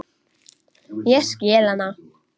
Ég skil hana.